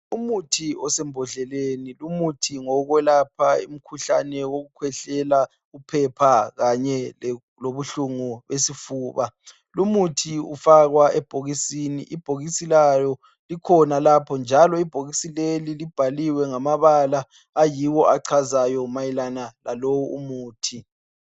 Umuthi osembodleleni lumuthi ngowokwelapha umkhuhlane wokukhwehlela uphepha kanye lobuhlungu besifuba lumuthi ufakwa ebhokisini, ibhokisi lawo likhona lapho njalo ibhokisi leli libhaliwe ngamabala ayiwo achazayo mayelana lalowu umuthi.